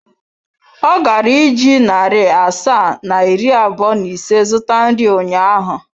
Ọ gara iji narị asaa na iri abụọ na ise zụta nri ụnyaahụ.